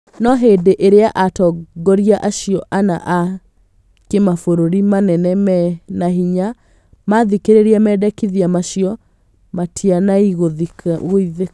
No hĩndĩĩrĩa atongoria acio ana a kĩmabũrũri manene men hinya mathikĩrĩria mendekithia macio matinaiguithĩka